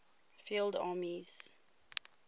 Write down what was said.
field armies